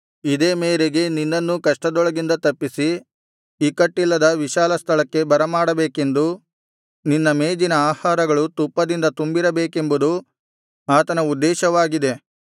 ಇದೇ ಮೇರೆಗೆ ನಿನ್ನನ್ನೂ ಕಷ್ಟದೊಳಗಿಂದ ತಪ್ಪಿಸಿ ಇಕ್ಕಟ್ಟಿಲ್ಲದ ವಿಶಾಲ ಸ್ಥಳಕ್ಕೆ ಬರಮಾಡಬೇಕೆಂದೂ ನಿನ್ನ ಮೇಜಿನ ಆಹಾರಗಳು ತುಪ್ಪದಿಂದ ತುಂಬಿರಬೇಕೆಂಬುದು ಆತನ ಉದ್ದೇಶವಾಗಿದೆ